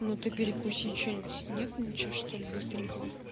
ну ты перекуси что-нибудь нет ничего что ли быстренько